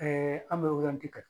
an bɛ kɛ